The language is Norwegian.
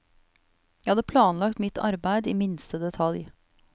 Jeg hadde planlagt mitt arbeidet i minste detalj.